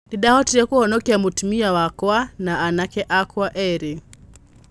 'Nĩ ndaavotire kũvonokia mũtumia wakwa na anake akwa erĩ.